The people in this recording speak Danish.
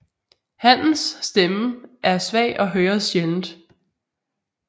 Hannens stemme er svag og høres sjældent